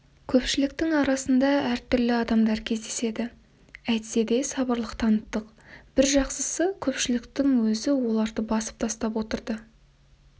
көпшіліктің арасында әртүрлі адамдар кездеседі әйтседе сабырлылық таныттық бір жақсысы көпшіліктің өзі оларды басып тастап отырды